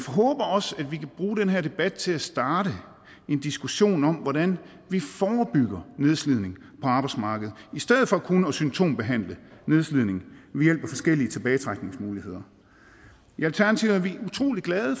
håber også at vi kan bruge den her debat til at starte en diskussion om hvordan vi forebygger nedslidning på arbejdsmarkedet i stedet for kun at symptombehandle nedslidning ved hjælp af forskellige tilbagetrækningsmuligheder i alternativet er vi utrolig glade